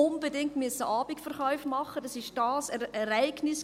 Man musste Abendverkäufe machen, es war Ereignis.